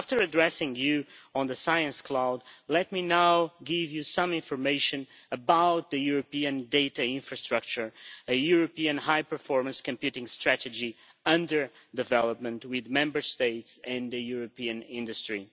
After addressing you on the Science Cloud, let me now give you some information about the European data infrastructure, a European high performance computing strategy under development with Member States and European industry.